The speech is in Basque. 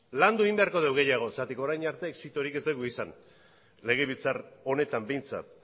landu egin beharko dugu gehiago orain arte exitorik ez dugulako izan legebiltzar honetan behintzat